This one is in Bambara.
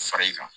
Far'i kan